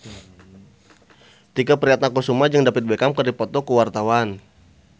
Tike Priatnakusuma jeung David Beckham keur dipoto ku wartawan